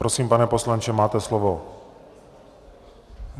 Prosím pane poslanče, máte slovo.